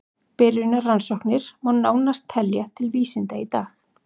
Byrjunarrannsóknir má nánast telja til vísinda í dag.